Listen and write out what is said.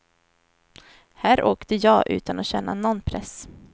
Här åkte jag utan att känna någon press.